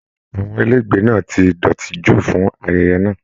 Àwọn ilé ìgbé náà tí dọ́tì jù fún ayẹyẹ náà.